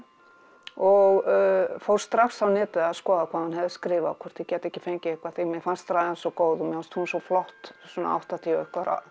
og fór strax á netið að skoða hvað hún hefði skrifað og hvort ég gæti ekki fengið eitthvað því mér fannst ræðan svo góð mér fannst hún svo flott svona áttatíu og eitthvað